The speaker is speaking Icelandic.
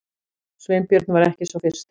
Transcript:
Sveinbjörn var ekki sá fyrsti.